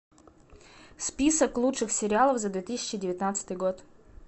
список лучших сериалов за две тысячи девятнадцатый год